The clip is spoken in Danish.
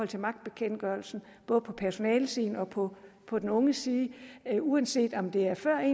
til magtbekendtgørelsen både på personalesiden og på på den unges side uanset om det er før